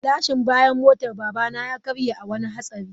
Gilashin bayan motar babana ya karye a wani hatsari.